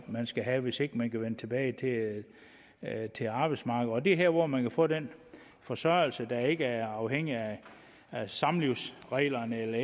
man skal have hvis ikke man kan vende tilbage til arbejdsmarkedet det er her hvor man kan få den forsørgelse der ikke er afhængig af samlivsreglerne eller